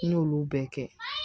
N y'olu bɛɛ kɛ